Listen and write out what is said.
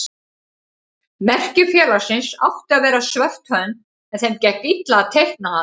Merki félagsins átti að vera svört hönd en þeim gekk illa að teikna hana.